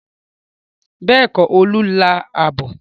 Bẹ́ẹ̀kọ́, Olú lá abọ́.